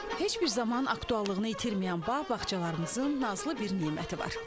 Heç bir zaman aktuallığını itirməyən bağ bağçalarımızın nazlı bir neməti var.